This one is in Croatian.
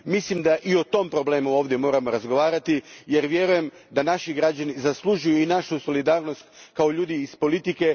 Mislim da i o tom problemu ovdje moramo razgovarati jer vjerujem da naši građani zaslužuju i našu solidarnost kao ljudi iz politike.